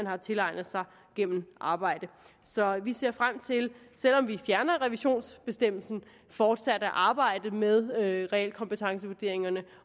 har tilegnet sig gennem arbejde så vi ser frem til selv om vi fjerner revisionsbestemmelsen fortsat at arbejde med realkompetencevurderingerne